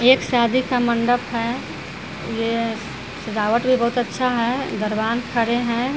एक एक शादी का मंडप है। ये सजावट भी बहुत अच्छा है। दरवान खड़े हैं।